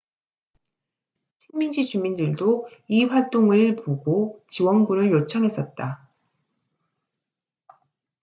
식민지 주민들도 이 활동을 보고 지원군을 요청했었다